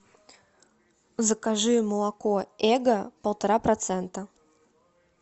закажи молоко эго полтора процента